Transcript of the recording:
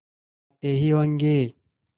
आते ही होंगे